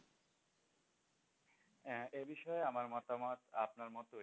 হ্যাঁ এ বিষয়ে আমার মতামত আপনার মতই।